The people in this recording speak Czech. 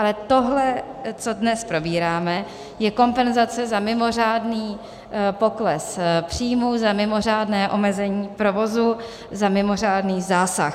Ale tohle, co dnes probíráme, je kompenzace za mimořádný pokles příjmů, za mimořádné omezení provozu, za mimořádný zásah.